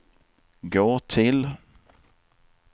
gå till